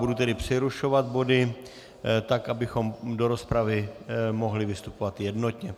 Budu tedy přerušovat body tak, abychom do rozpravy mohli vystupovat jednotně.